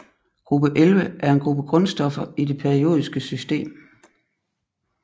Gruppe 11 er en gruppe grundstoffer i det periodiske system